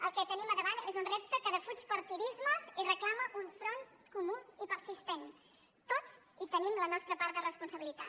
el que tenim davant és un repte que defuig partidismes i reclama un front comú i persistent tots hi tenim la nostra part de responsabilitat